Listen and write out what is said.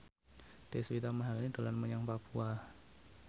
Deswita Maharani dolan menyang Papua